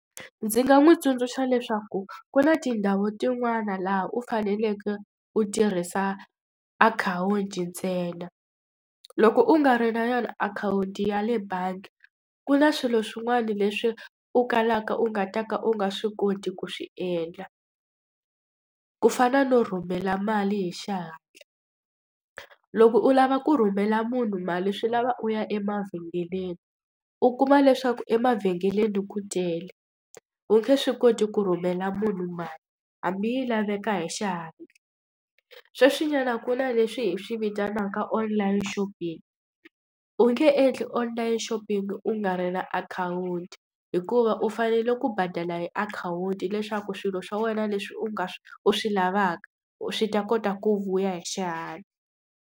Ndzi nga n'wi tsundzuxa leswaku ku na tindhawu tin'wana laha u faneleke u tirhisa akhawunti ntsena. Loko u nga ri na yona akhawunti ya le bangi, ku na swilo swin'wana leswi u kalaka u nga ta ka u nga swi koti ku swi endla. Ku fana no rhumela mali hi xihatla. Loko u lava ku rhumela munhu mali swi lava u ya emavhengeleni, u kuma leswaku emavhengeleni ku tele u nge swi koti ku rhumela munhu mali hambi yi laveka hi xihatla. Sweswinyana ku na leswi hi swi vitanaka online shopping. U nge endli online shopping u nga ri na akhawunti hikuva u fanele ku badala hi akhawunti leswaku swilo swa wena leswi u nga swi u swi lavaka u swi ta kota ku vuya hi xihatla.